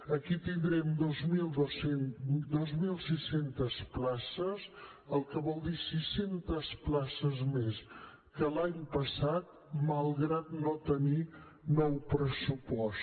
aquí tindrem dos mil sis cents places que vol dir sis cents places més que l’any passat malgrat no tenir nou pressupost